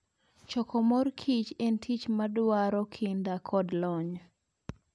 Choko mor kich en tich madwaro kinda kod lony.